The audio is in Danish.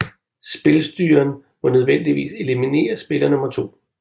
Spilstyreren må nødvendigvis eliminerer spiller 2